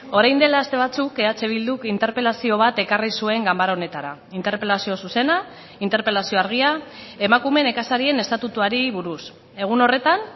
orain dela aste batzuk eh bilduk interpelazio bat ekarri zuen ganbara honetara interpelazio zuzena interpelazio argia emakume nekazarien estatutuari buruz egun horretan